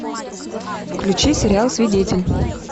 включи сериал свидетель